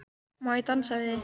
Má ég dansa við þig?